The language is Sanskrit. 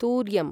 तूर्यम्